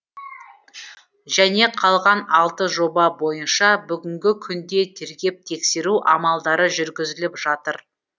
және қалған алты жоба бойынша бүгінгі күнде тергеп тексеру амалдары жүргізіліп жатыр